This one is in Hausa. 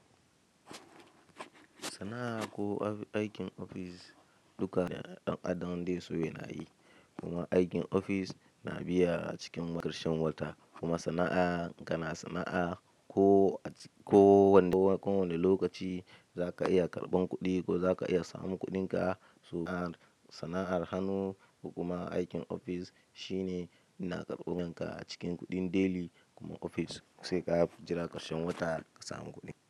In sannan akai aikin office duka wanda dan adam zaiso yanayi kuma aikin ofis na biya a cikin ƙarshen wata kuma sana'a kana sana'a ko wane lokaci za ka iya karɓan kuɗi ko za ka iya samun kuɗinka. Sana'ar hannu kuma aikin ofis shine yana karɓar yanka a cikin kuɗin deli kuma ofis sai ka jira ƙarshen wata ka samu kuɗi.